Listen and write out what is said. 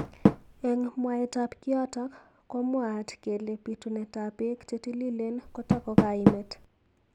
Eng mwaet ab kiyotok komwaat kele bitunet ab bek chetililen kotako kaimet.